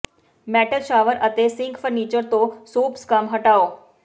metal shower ਅਤੇ sink fixture ਤੋਂ soap scum ਹਟਾਓ